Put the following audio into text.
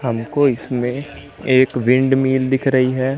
हमको इसमें एक विंडमिल दिख रही है।